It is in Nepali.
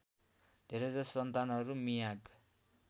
धेरैजसो सन्तानहरू मियाग